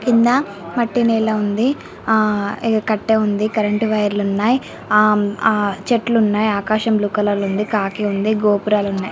కింద మట్టి నేల ఉంది ఆ కట్టే ఉంది కరెంటు వైర్ లు ఉన్నాయి అమ్ ఆ చెట్లు ఉన్నాయి ఆకాశంలో కలర్ ఉందని కాకి ఉంది గోపురాలు ఉన్నాయి.